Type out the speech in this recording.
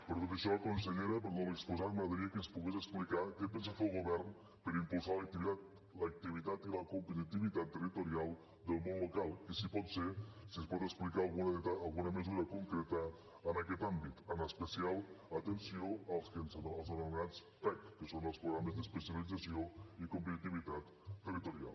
per tot això consellera per tot l’exposat m’agradaria que ens pogués explicar què pensa fer el govern per impulsar l’activitat i la competitivitat territorial del món local i si pot ser si ens pot explicar alguna mesura concreta en aquest àmbit amb especial atenció als anomenats pect que són els programes d’especialització i competitivitat territorial